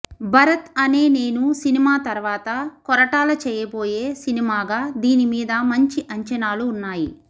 Bharat Ane Nenu cinema తరవాత కొరటాల చేయబోయే సినిమాగా దీని మీద మంచి అంచనాలు వున్నాయి